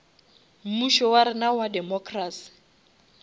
mmušo wa rena wa democracy